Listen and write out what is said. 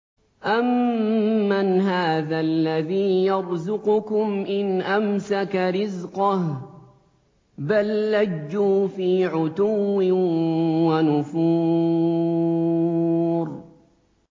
أَمَّنْ هَٰذَا الَّذِي يَرْزُقُكُمْ إِنْ أَمْسَكَ رِزْقَهُ ۚ بَل لَّجُّوا فِي عُتُوٍّ وَنُفُورٍ